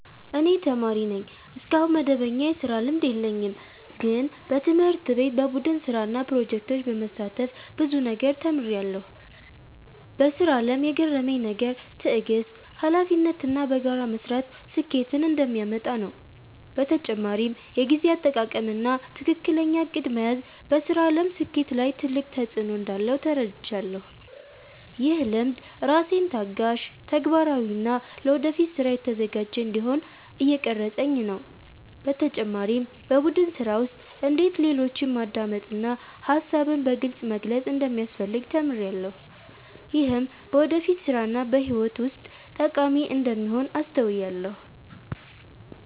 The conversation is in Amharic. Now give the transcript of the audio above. እኔ ተማሪ ነኝ፣ እስካሁን መደበኛ የስራ ልምድ የለኝም። ግን በትምህርት ቤት በቡድን ስራ እና ፕሮጀክቶች በመሳተፍ ብዙ ነገር ተማርኩ። በስራ አለም የገረመኝ ነገር ትዕግስት፣ ሀላፊነት እና በጋራ መስራት ስኬትን እንደሚያመጣ ነው። በተጨማሪም የጊዜ አጠቃቀም እና ትክክለኛ እቅድ መያዝ በስራ አለም ስኬት ላይ ትልቅ ተፅዕኖ እንዳለው ተረዳሁ። ይህ ልምድ ራሴን ታጋሽ፣ ተግባራዊ እና ለወደፊት ስራ የተዘጋጀ እንዲሆን እየቀረፀኝ ነው። በተጨማሪም በቡድን ስራ ውስጥ እንዴት ሌሎችን ማዳመጥ እና ሀሳብን በግልፅ መግለጽ እንደሚያስፈልግ ተማርኩ። ይህም በወደፊት ስራ እና በህይወት ውስጥ ጠቃሚ እንደሚሆን አስተዋልኩ።